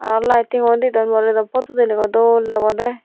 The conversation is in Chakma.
aro lighting ow de don bo redot photot udilay goi dol debode.